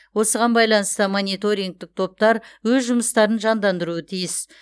осыған байланысты мониторингтік топтар өз жұмыстарын жандандыруы тиіс